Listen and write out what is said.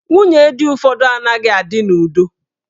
Nwunye di ụfọdụ anaghị adị n'udo.